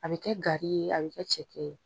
A bi kɛ gari ye, a bi kɛ cɛkɛ ye.